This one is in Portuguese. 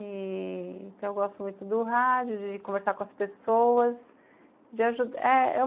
E... eu gosto muito do rádio, de conversar com as pessoas.